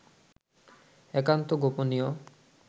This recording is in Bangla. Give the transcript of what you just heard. একান্ত গোপনীয়